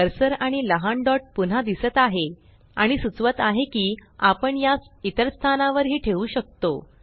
cursor आणि लहान dot पुन्हा दिसत आहे आणि सुचवत आहे की आपण यास इतर स्थानावर ही ठेऊ शकतो